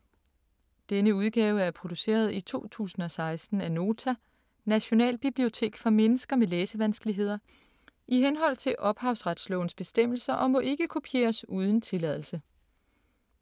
Denne udgave er produceret i 2016 af Nota - Nationalbibliotek for mennesker med læsevanskeligheder, i henhold til ophavsrettes bestemmelser, og må ikke kopieres uden tilladelse.